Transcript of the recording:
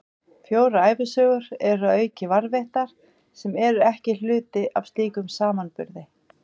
Fjórar ævisögur eru að auki varðveittar, sem eru ekki hluti af slíkum samanburði.